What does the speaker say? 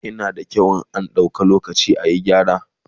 yana da kyau in an dau lokaci ayi gyara